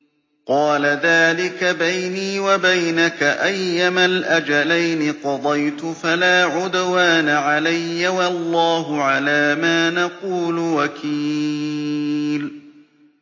قَالَ ذَٰلِكَ بَيْنِي وَبَيْنَكَ ۖ أَيَّمَا الْأَجَلَيْنِ قَضَيْتُ فَلَا عُدْوَانَ عَلَيَّ ۖ وَاللَّهُ عَلَىٰ مَا نَقُولُ وَكِيلٌ